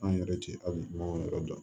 An yɛrɛ tɛ ali baganw yɛrɛ dɔn